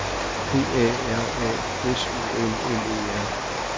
P A R A S O L L E R